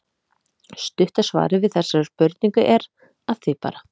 Stutta svarið við þessari spurningu er: Að því bara!